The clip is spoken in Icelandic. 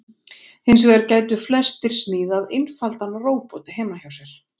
Hins vegar gætu flestir smíðað einfaldan róbot heima hjá sér.